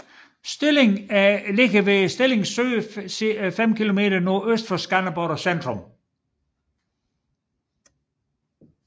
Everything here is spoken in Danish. Stilling er beliggende ved Stilling Sø 5 kilometer NØ for Skanderborg centrum